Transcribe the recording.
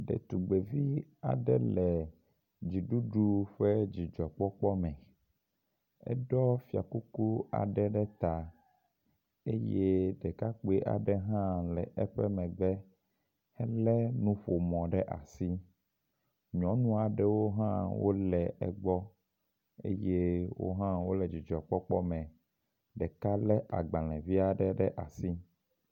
Ɖetugbevi aɖe le dziɖuɖu ƒe dzidzɔkpɔkpɔ me, eɖɔ fiakuku aɖe ɖe ta eye ɖekakpui aɖe hã le eƒe megbe hele nuƒomɔ ɖe asi. Nyɔnua aɖewo hã wole egbɔ eye wohã wole dzidzɔkpɔkpɔ me, ɖeka le agbalẽ vi aɖe ɖe asi.